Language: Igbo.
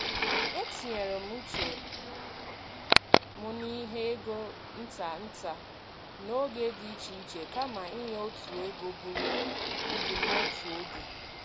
E tinyere m uche m n’inye ego nta nta n’oge dị iche iche kama inye otu ego buru ibu n’otu oge.